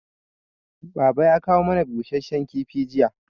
Baba ya kawo mana busasshen kifi jiya